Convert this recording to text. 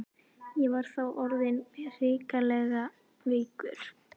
Ég var þá orðinn hrikalega veikur.